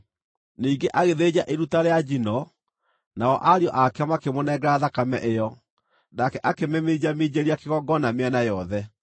Ningĩ agĩthĩnja iruta rĩa njino. Nao ariũ ake makĩmũnengera thakame ĩyo, nake akĩmĩminjaminjĩria kĩgongona mĩena yothe.